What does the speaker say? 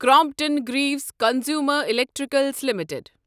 Crompton Greaves Consumer Electrical limited